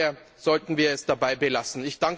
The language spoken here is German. Daher sollten wir es dabei belassen.